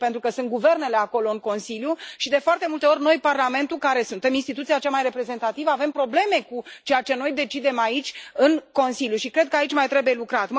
Pentru că sunt guvernele acolo în Consiliu și, de foarte multe ori, noi, Parlamentul, care suntem instituția cea mai reprezentativă, avem probleme în Consiliu cu ceea ce noi decidem aici și cred că aici mai trebuie lucrat.